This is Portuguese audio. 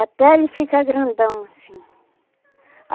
Até ele ficar grandão, assim.